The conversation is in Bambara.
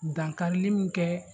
Dankarili min kɛ